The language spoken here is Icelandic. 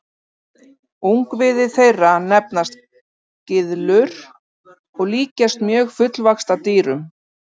Ungviði þeirra nefnast gyðlur og líkjast mjög fullvaxta dýrum.